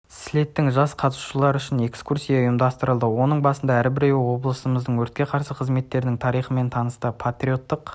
слеттің жас қатысушылары үшін экскурсия ұйымдастырылды оның барысында әрбіреуі облысымыздың өртке қарсы қызметтерінің тарихынмен танысты патриоттық